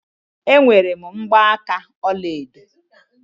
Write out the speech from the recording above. Enwere m mgbaaka ọlaedo.